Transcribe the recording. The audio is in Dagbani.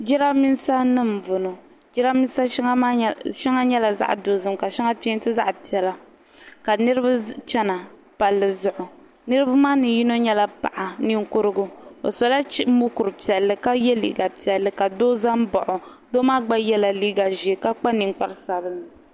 jiramisanima m-bɔŋɔ jiramisa shɛŋa nyɛla zaɣ'dozim ka shɛŋa pɛɛnti zaɣ'piɛla ka niriba chena palli zuɣu niriba maa ni yino nyɛla paɣ'niŋkurugu o sola mukuru piɛlli ka ye liiga piɛlli ka doo za m-baɣi o doo maa gba yela liiga ʒee ka kpa niŋkpar'sabinlli